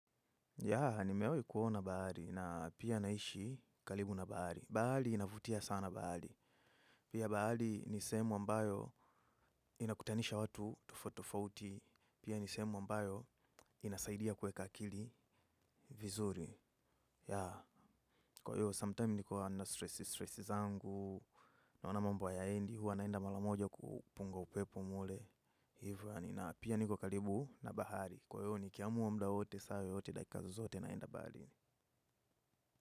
Yaa, nimewahi kuona bahari na pia naishi karibu na bahari. Bahari inavutia sana bahari. Pia bahari ni sehemu ambayo inakutanisha watu tofauti tofauti. Pia ni sehemu ambayo inasaidia kuweka akili vizuri. Yaa, kwa hiyo, sometime niko under stressi, stressi zangu. Naona mambo hayaendi, huwa naenda mara moja kupunga upepo mle. Hivyo nina pia niko karibu na bahari. Kwa hivyo, nikiamua muda wowote, saa yoyote, dakika zozote ninaenda bahari.